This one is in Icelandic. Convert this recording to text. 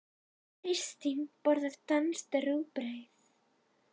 Kristín borðar danskt rúgbrauð.